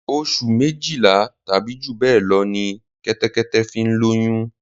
Oṣù méjìlá tàbí jù bẹ́ẹ̀ lọ ní Kẹ́tẹ́kẹ́tẹ́ fi ń lóyún